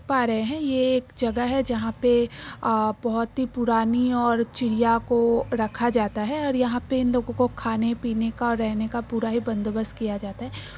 पा रहे हैं ये एक जगह है जहां पे आ बोहोत ही पुरानी और चिड़िया को रखा जाता है और यहां पे इन लोगों को खाने पीने का और रहने का पूरा ही बंदोबस्त किया जाता है।